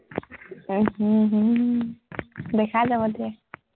উম হম হম দেখা যাব দে,